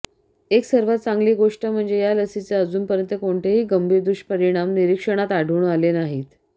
एक सर्वात चांगली गोष्ट म्हणजे या लसीचे अजूनपर्यंत कोणतेही गंभीर दुष्परिणाम निरीक्षणात आढळून आले नाहीत